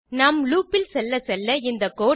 நாம் லூப் இல் செல்ல செல்ல இந்த கோடு